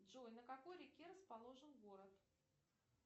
джой на какой реке расположен город